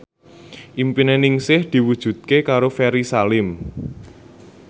impine Ningsih diwujudke karo Ferry Salim